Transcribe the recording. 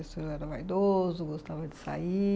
O senhor era vaidoso, gostava de sair?